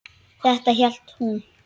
Þetta hélt hún.